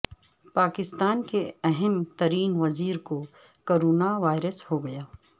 پاکستان کے اہم ترین وزیر کو کرونا وائرس ہو گیا